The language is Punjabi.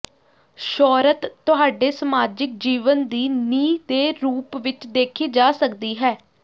ਸ਼ੌਹਰਤ ਤੁਹਾਡੇ ਸਮਾਜਿਕ ਜੀਵਨ ਦੀ ਨੀਂਹ ਦੇ ਰੂਪ ਵਿਚ ਦੇਖੀ ਜਾ ਸਕਦੀ ਹੈ